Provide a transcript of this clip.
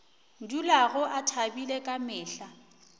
dulago a thabile ka mehla